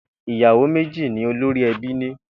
Ìyàwó méjì ni olórí e̩bí ní